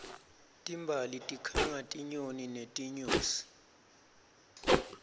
timbali tikhanga tinyoni netinyosi